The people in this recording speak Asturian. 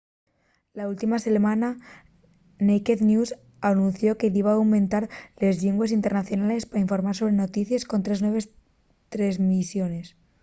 la última selmana naked news anunció que diba aumentar les llingües internacionales pa informar sobre noticies con tres nueves tresmisiones